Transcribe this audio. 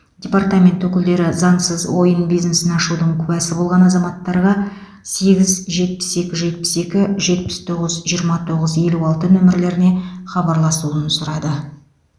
департамент өкілдері заңсыз ойын бизнесін ашудың куәсі болған азаматтарға сегіз жетпіс екі жетпіс екі жетпіс тоғыз жиырма тоғыз елу алты нөмірлеріне хабарласуын сұрады